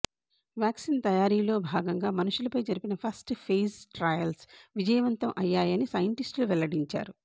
vaccine తయారీలో భాగంగా మనుషులపై జరిపిన ఫస్ట్ ఫేజ్ ట్రయల్స్ విజయవంతం అయ్యాయని సైంటిస్టులు వెల్లడించారు